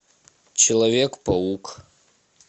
человек паук